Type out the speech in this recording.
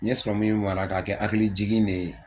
N ye mara k'a kɛ hakilijigin de ye